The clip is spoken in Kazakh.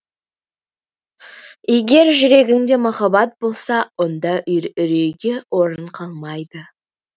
егер жүрегіңде махаббат болса онда үрейге орын қалмайды